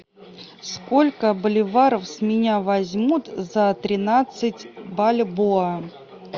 сколько боливаров с меня возьмут за тринадцать бальбоа